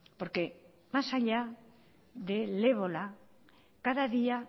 porque más allá del ébola cada día